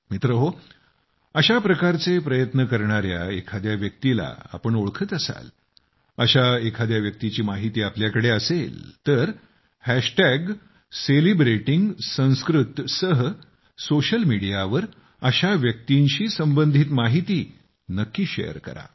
मित्रहो अशाप्रकारचे प्रयत्न करणाऱ्या एखाद्या व्यक्तीला तुम्ही ओळखत असाल अशा एखाद्या व्यक्तीची माहिती तुमच्याकडे असेल तर सेलिब्रेटिंगसंस्कृत सह सोशल मीडिया वर अशा व्यक्तीशी संबंधित माहिती नक्की शेअर करा